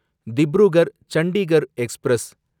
Dibrugarh Chandigarh express